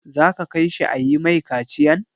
Za ka kai shi a yi mai kaciyan?